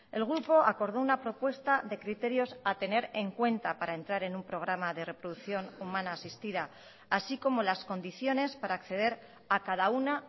el grupo acordó una propuesta de criterios a tener en cuenta para entrar en un programa de reproducción humana asistida así como las condiciones para acceder a cada una